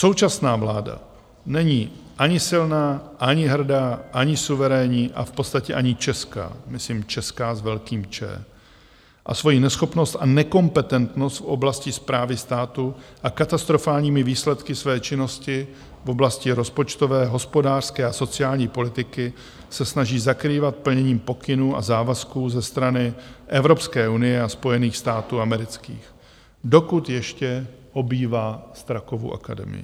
Současná vláda není ani silná, ani hrdá, ani suverénní a v podstatě ani česká, myslím Česká s velkým Č. A svoji neschopnost a nekompetentnost v oblasti správy státu a katastrofálními výsledky své činnosti v oblasti rozpočtové, hospodářské a sociální politiky se snaží zakrývat plněním pokynů a závazků ze strany Evropské unie a Spojených států amerických, dokud ještě obývá Strakovu akademii.